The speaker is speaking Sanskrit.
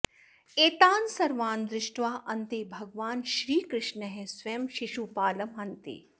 एतान् सर्वान् दृष्ट्वा अन्ते भगवान् श्रीकृष्णः स्वयं शिशुपालं हन्ति